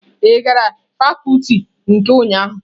Ị gara fakuti nke ụnyahụ?